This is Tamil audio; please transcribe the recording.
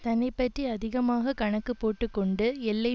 தன்னைப்பற்றி அதிகமாக கணக்கு போட்டு கொண்டு எல்லை